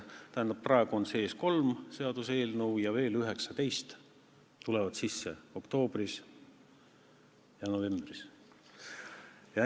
Tähendab, praegu on sees kolm seaduseelnõu ja oktoobris-novembris tuleb veel 19.